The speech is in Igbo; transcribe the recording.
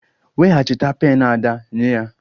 Weghachite pen Ada nye ya!